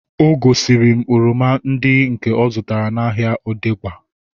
O gosiri m oroma ndị nke ọ zụtara n'ahia Odegba